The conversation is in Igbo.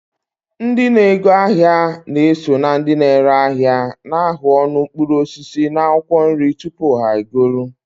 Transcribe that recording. Ndị na-ego ahịa na-eso na ndị ere ahịa na-ahụ ọnụ mkpụrụ osisi na akwụkwọ nri tupu ha egoro.